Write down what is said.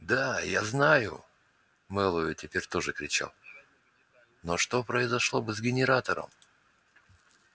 да я знаю мэллоу теперь тоже кричал но что произошло бы с генератором